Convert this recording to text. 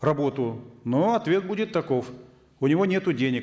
работу но ответ будет таков у него нету денег